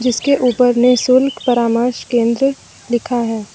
इसके ऊपर निशुल्क परामर्श केंद्र लिखा है।